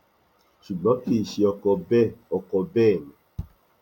ṣùgbọn kì í ṣe ọkọ bẹẹ ọkọ bẹẹ ni